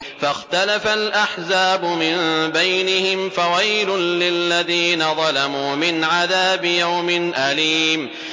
فَاخْتَلَفَ الْأَحْزَابُ مِن بَيْنِهِمْ ۖ فَوَيْلٌ لِّلَّذِينَ ظَلَمُوا مِنْ عَذَابِ يَوْمٍ أَلِيمٍ